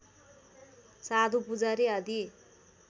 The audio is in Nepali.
साधु पुजारी आदि